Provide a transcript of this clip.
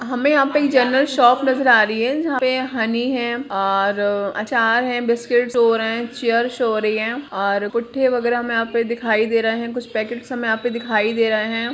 हमें यहाँ पे एक जेनरल शॉप नज़र आ रही है जहाँ पे हनी है और अचार है बिस्किट्स शो हो रहें हैं चेयर शो हो रहीं हैं और पुट्ठे वगैरा हमें यहाँ पे दिखाई दे रहें हैं कुछ पैकेट्स हमें यहाँ पे दिखाई दे रहें हैं।